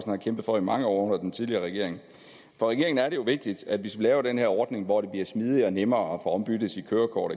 har kæmpet for i mange år under den tidligere regering for regeringen er det jo vigtigt hvis vi laver den her ordning hvor det bliver smidigere og nemmere at få ombyttet sit kørekort